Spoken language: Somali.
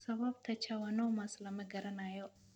Sababta schwannomas lama garanayo.